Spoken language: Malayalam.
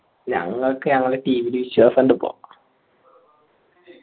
ഞങ്ങൾക്ക് ഞങ്ങളാ team നെ വിശ്വാസമിണ്ടപ്പോ